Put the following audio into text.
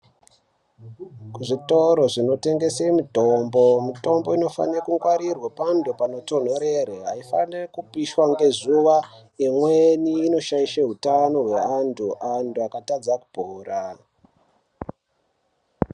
Kuzvitoro zvinotengese mitombo mitombo inofanire kungwarirwa panotonhorera. Aifaniri kupishwa ngezuwa, imweni inoshaisha utano hweantu, antu akatadza kupora.